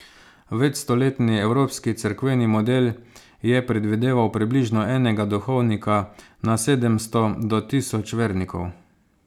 Večstoletni evropski cerkveni model je predvideval približno enega duhovnika na sedemsto do tisoč vernikov.